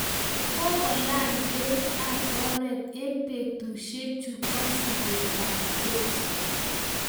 Kokolany beit ab oret eng betusiechu bo sigetab Jeiso